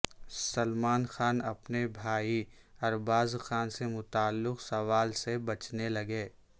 سلمان خان اپنے بھائی اربازخان سے متعلق سوال سے بچنے لگے